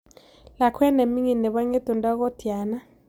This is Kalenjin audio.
Lakwet ne ming'in ne po ng'etundo ko tyana